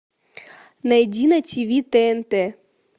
найди на тиви тнт